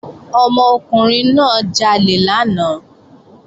Ọmọkùnrin náà jalè lánàá